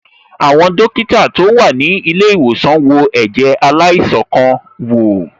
Àwọn dókítà tó wà ní ilé ìwòsàn wo ẹ̀jẹ̀ aláìsàn kan wò.